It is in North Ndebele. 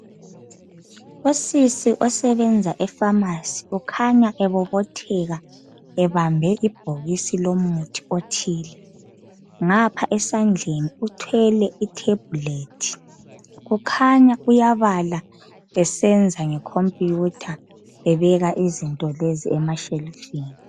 Usisi osebenza efamasi ukhanya ebebobotheka ebambe ibhokisi lomuthi othile ngapha esandleni uthwele itheblethi kukhanya uyabala esenza nge khompuyutha ebeka izinto lezi emashelufini.